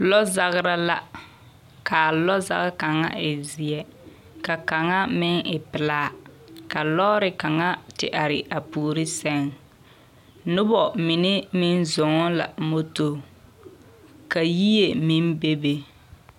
Lɔzagra la. Ka a lɔzagekaŋa e zeɛ, ka kaŋa meŋ e pelaa. Ka lɔɔre kaŋa te are a puori seŋ. Noba mine meŋ zɔŋ la moto ka yie meŋ bebe.